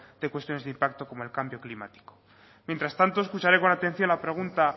de cuestiones de impacto como el cambio climático mientras tanto escucharé con atención la pregunta